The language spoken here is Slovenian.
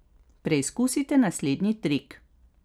Preizkusite naslednji trik.